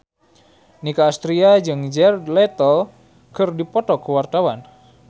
Nicky Astria jeung Jared Leto keur dipoto ku wartawan